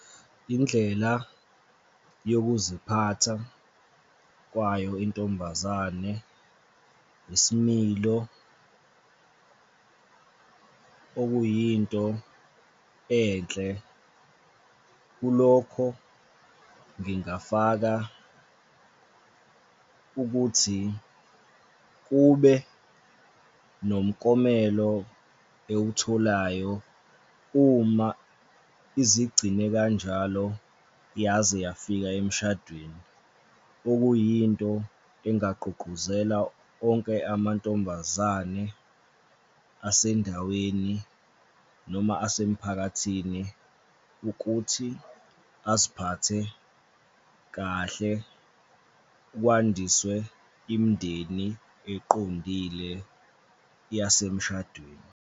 Indlela yokuziphatha kwayo intombazane ngesimilo, okuyinto enhle, kulokho ngingafaka ukuthi kube nomuklomelo ewutholayo uma izigcine kanjalo yaze yafika emshadweni, okuyinto engagqugquzela onke amantombazane asendaweni noma asemphakathini ukuthi aziphathe kahle, kwandiswe imindeni eqondile yasemshadweni.